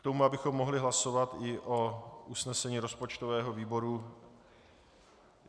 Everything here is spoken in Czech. K tomu, abychom mohli hlasovat i o usnesení rozpočtového výboru.